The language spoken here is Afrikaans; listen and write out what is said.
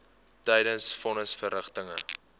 tydens von nisverrigtinge